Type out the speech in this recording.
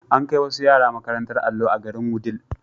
An kai wasu yara makarantar allo a garin Wudil.